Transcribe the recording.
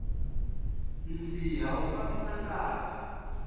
nsiha wu fambisa ngati